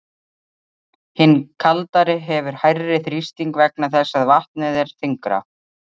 Hin kaldari hefur hærri þrýsting vegna þess að vatnið er þyngra.